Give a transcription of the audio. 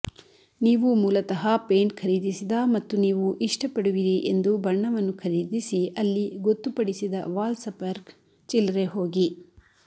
ನೀವು ಮೂಲತಃ ಪೇಂಟ್ ಖರೀದಿಸಿದ ಮತ್ತು ನೀವು ಇಷ್ಟಪಡುವಿರಿ ಎಂದು ಬಣ್ಣವನ್ನು ಖರೀದಿಸಿ ಅಲ್ಲಿ ಗೊತ್ತುಪಡಿಸಿದ ವಾಲ್ಸಪರ್ ಚಿಲ್ಲರೆ ಹೋಗಿ